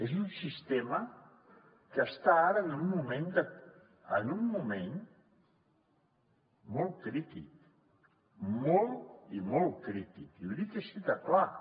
és un sistema que està ara en un moment molt crític molt i molt crític i ho dic així de clar